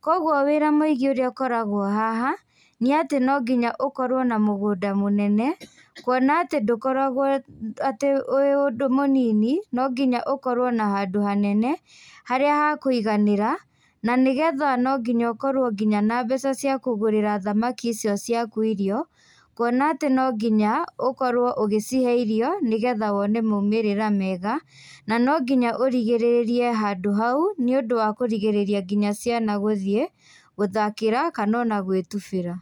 koguo wĩra mũingĩ ũrĩa ũkoragwo haha, nĩ atĩ no nginya ũkorwo na mũgũndũ mũnene, kuona atĩ ndũkoragwo atĩ ũrĩ ũndũ mũnini, no nginya ũkorwo na handũ hanene, harĩa hakũiganĩra, na nĩgetha no nginya ũkorwo nginya na mbeca cia kũgũrĩra thamaki icio ciaku irio, kuona atĩ no nginya ũkorwo ũgĩcihe irio, nĩgetha wone maumĩrĩra mega, na no nginya ũrigĩrĩrie handũ hau, nĩũndũ wa kũrigĩrĩria nginya ciana guthiĩ, gũthakĩra kana ona gwĩtubĩra.